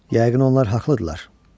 Yəqin onlar haqlıdırlar.